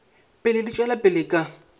pele di tšwela pele ka